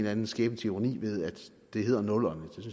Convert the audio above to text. anden skæbnens ironi ved at det hedder nullerne